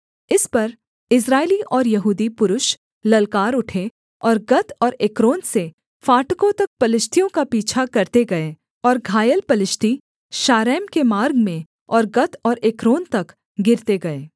इस पर इस्राएली और यहूदी पुरुष ललकार उठे और गत और एक्रोन से फाटकों तक पलिश्तियों का पीछा करते गए और घायल पलिश्ती शारैंम के मार्ग में और गत और एक्रोन तक गिरते गए